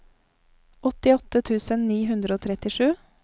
åttiåtte tusen ni hundre og trettisju